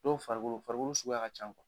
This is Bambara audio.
Dɔw farikolo farikolo suguya ka can